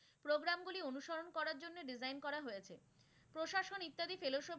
জন্যে design করা হয়েছে, প্রশাসন ইত্যাদি ফেলশো,